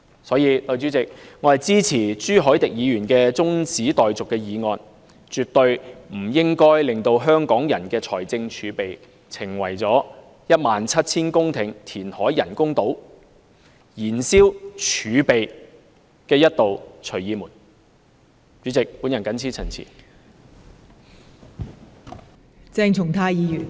所以，代理主席，我支持朱凱廸議員提出的中止待續議案，香港人的財政儲備絕對不應成為一道假借 1,700 公頃人工島填海工程之名以燃燒儲備的"隨意門"。